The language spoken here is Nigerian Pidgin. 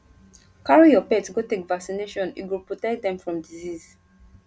carry your pet go take vaccination e go protect dem from disease